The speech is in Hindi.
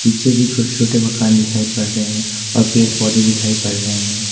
पीछे भी छोटे छोटे मकान दिखाई पड़ रहे हैं और पेड़-पौधे दिखाई पड़ रहे हैं।